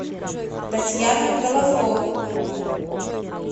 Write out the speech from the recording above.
татьяна головко